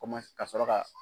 ka sɔrɔ ka